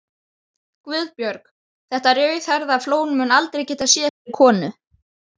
Þar nægir rétt handhöfn í öllu tilliti gagnvart félaginu.